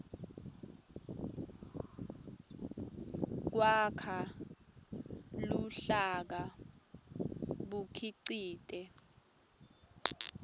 kwakha luhlaka bukhicite